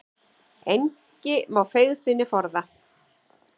Engi má feigð sinni forða.